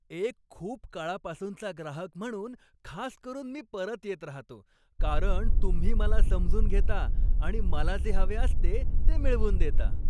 एक खूप काळापासूनचा ग्राहक म्हणून खास करून मी परत येत राहतो, कारण तुम्ही मला समजून घेता आणि मला जे हवे असते ते मिळवून देता.